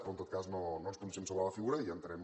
però en tot cas no ens pronunciem sobre la figura i entenem